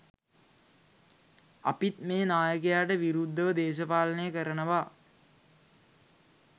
අපිත් මේ නායකයාට විරුද්ධව දේශපාලනය කරනවා.